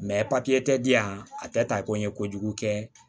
tɛ di yan a tɛ ta ko n ye kojugu kɛ